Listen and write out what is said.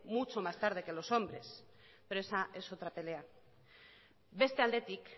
mucho más tarde que los hombres pero esa es otra pelea beste aldetik